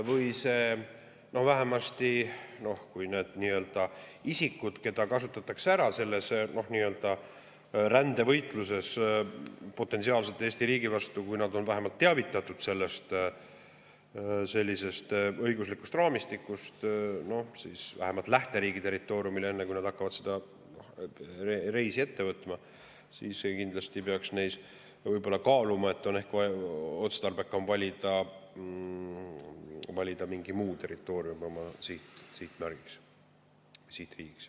Kui need isikud, keda potentsiaalselt kasutatakse ära selles nii-öelda rändevõitluses Eesti riigi vastu, on vähemalt teadlikud meie sellisest õiguslikust raamistikust, siis enne, kui nad lähteriigi territooriumilt hakkavad seda reisi ette võtma, siis nad võib-olla kaaluvad, ehk on otstarbekam valida mingi muu territoorium oma sihtmärgiks, sihtriigiks.